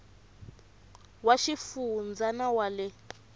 wa xifundza na wa le